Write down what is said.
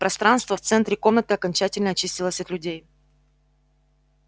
пространство в центре комнаты окончательно очистилось от людей